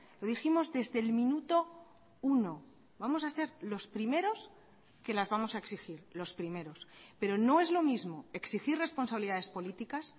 lo dijimos desde el minuto uno vamos a ser los primeros que las vamos a exigir los primeros pero no es lo mismo exigir responsabilidades políticas